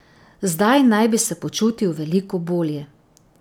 Zdaj naj bi se počutil veliko bolje.